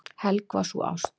Helg var sú ást.